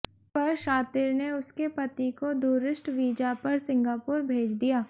पर शातिर ने उसके पति को दूरिस्ट वीजा पर सिंगापुर भेज दिया